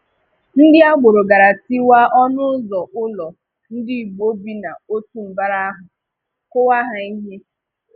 Ndị agbọrọ̀ gaa tìwà ọnụụ̀zọ ụlọ Ndigbo bi n’òtù mbara ahụ kùwà ha ihe.